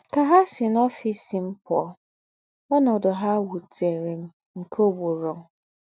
Kà ha sì n’ọ́fìs m pụ̀ọ́, ọ̀nọ́dù ha wútèrè m nke ùgbùrù.